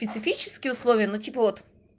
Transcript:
специфические условия но типа вот